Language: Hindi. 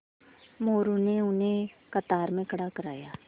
मोरू ने उन्हें कतार में खड़ा करवाया